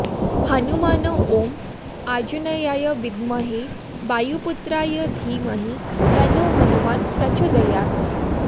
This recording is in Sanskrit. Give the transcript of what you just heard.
हनुमान ॐ आञ्जनेयाय विद्महे वायुपुत्राय धीमहि तन्नो हनूमान् प्रचोदयात्